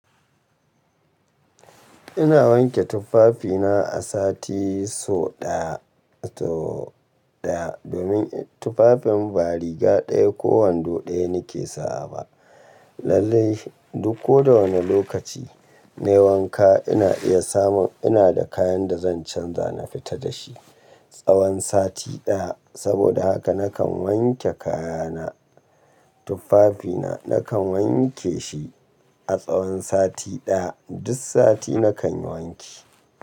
Ina wanke tufafina a sati so ɗaya, so ɗaya domin tufafin ba riga ɗaya ko wando ɗaya nake sawa ba. Lallai duk ko da wane lokaci na yi wanka ina iya samun ina da kayan da zan canza na fita dashi tsawon sati ɗaya. Saboda haka nakan wanke kayana. Tufafina nakan wanke shi a tsawon sati ɗaya. Duk sati nakan yi wanki.